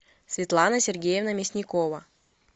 светлана сергеевна мясникова